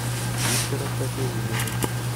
виктора сафиуллина